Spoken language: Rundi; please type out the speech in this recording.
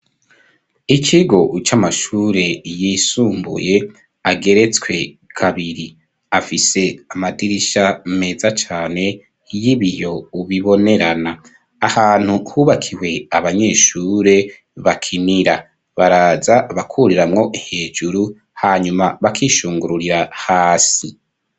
Ikigo c'amashure yisumbuye ageretswe kabiri. Afise amadirisha meza cane y'ibiyo bibonerana. Ahantu hubakiwe abanyeshure bakinira. Baraza bakuriramwo hejuru, hanyuma bakishungururira hasi.